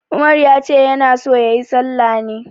Umar ya ce ya na so ya yi sallah ne.